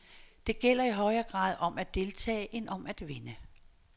Det gælder i højere grad om at deltage end om at vinde.